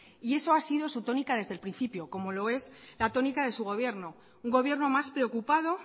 y eso ha sido su tónica desde el principio como lo es la tónica de su gobierno un gobierno más preocupado